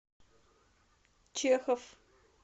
чехов